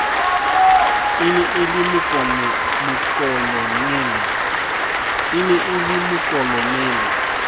e ne e le mokolonele